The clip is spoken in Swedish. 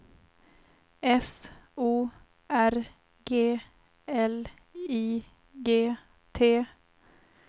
S O R G L I G T